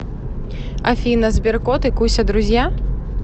афина сберкот и куся друзья